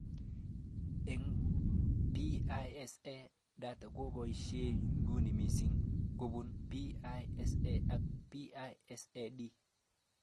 Eng PISA, data nekiboishe nyuni mising kobun PISA ak PISA-D